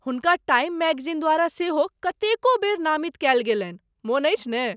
हुनका Time magazine द्वारा सेहो कतेको बेर नामित कएल गेलन्हि, मोन अछि ने?